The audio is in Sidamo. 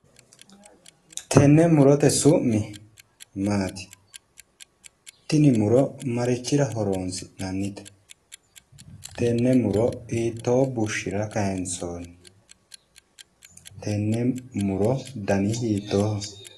Tenne murote su'mi maati? Tini muro marichira horoonsi'nannite? Tenne muro hiittoo bushshira kayinsoonni? Tenne muro dani hiittooho?